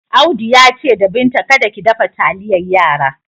Audu ya ce da Binta kada ki dafa taliyar yara.